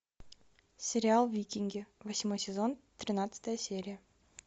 сериал викинги восьмой сезон тринадцатая серия